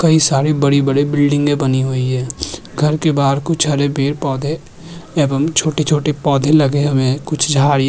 कई सारे बड़े-बड़े बिल्डिंगे बनी हुए हैं घर के बाहर कुछ हरे पेड़-पौधे एवं छोटे-छोटे पौधे लगे हुए हैं कुछ झाड़ियाँ --